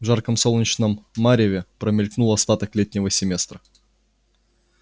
в жарком солнечном мареве промелькнул остаток летнего семестра